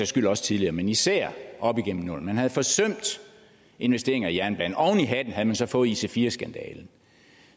skyld også tidligere men især op igennem nullerne man havde forsømt investeringer i jernbanen oven i hatten havde man så fået ic4 skandalen